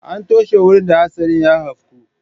An toshe wurin da hatsarin ya afku.